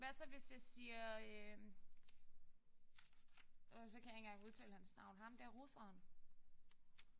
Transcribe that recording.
Hvad så hvis jeg siger øh og så kan jeg ikke engang udtale hans navn. Ham der russeren